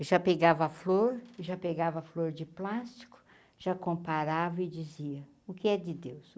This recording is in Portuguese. Eu já pegava a flor, já pegava a flor de plástico, já comparava e dizia, o que é de Deus?